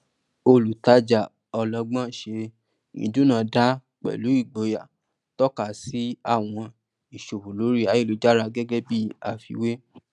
olùtàjà ọlọgbọn ṣe ìdúnàdàá pẹlú igboyà tọka sí àwọn ìṣòwò lórí ayélujára gẹgẹ bí afíwè